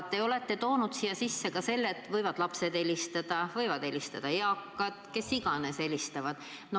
Te olete toonud siia sisse ka selle, et võivad helistada lapsed, võivad helistada eakad, kes iganes.